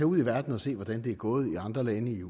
ud i verden og se hvordan det er gået i andre lande